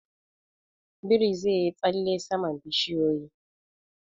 Biri zai yi tsalle saman bishiyoyi.